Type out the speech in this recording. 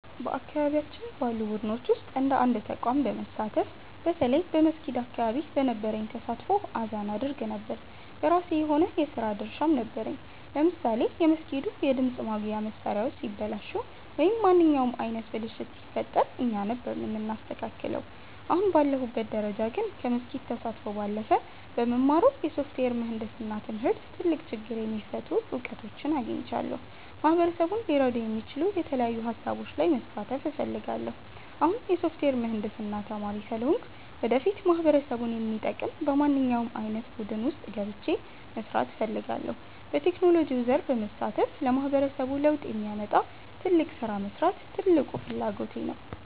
በአካባቢያችን ባሉ ቡድኖች ውስጥ እንደ አንድ ተቋም በመሳተፍ፣ በተለይ በመስጊድ አካባቢ በነበረኝ ተሳትፎ አዛን አደርግ ነበር። የራሴ የሆነ የሥራ ድርሻም ነበረኝ፤ ለምሳሌ የመስጊዱ የድምፅ ማጉያ መሣሪያዎች ሲበላሹ ወይም ማንኛውም ዓይነት ብልሽት ሲፈጠር እኛ ነበርን የምናስተካክለው። አሁን ባለሁበት ደረጃ ግን፣ ከመስጊድ ተሳትፎ ባለፈ በምማረው የሶፍትዌር ምህንድስና ትምህርት ትልቅ ችግር የሚፈቱ እውቀቶችን አግኝቻለሁ። ማህበረሰቡን ሊረዱ የሚችሉ የተለያዩ ሃሳቦች ላይ መሳተፍ እፈልጋለሁ። አሁን የሶፍትዌር ምህንድስና ተማሪ ስለሆንኩ፣ ወደፊት ማህበረሰቡን የሚጠቅም በማንኛውም ዓይነት ቡድን ውስጥ ገብቼ መሥራት እፈልጋለሁ። በቴክኖሎጂው ዘርፍ በመሳተፍ ለማህበረሰቡ ለውጥ የሚያመጣ ትልቅ ሥራ መሥራት ትልቁ ፍላጎቴ ነው።